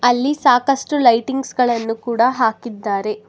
ಅಲ್ಲಿ ಸಾಕಷ್ಟು ಲೈಟಿಂಗ್ಸ್ ಗಳನ್ನು ಕೂಡ ಹಾಕಿದ್ದಾರೆ.